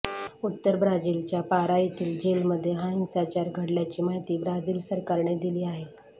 उत्तर ब्राझीलच्या पारा येथील जेल मध्ये हा हिंसाचार घडल्याची माहिती ब्राझील सरकारने दिली आहे